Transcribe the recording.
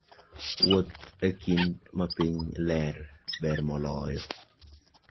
Wuoth e kinde ma piny ler, ber moloyo.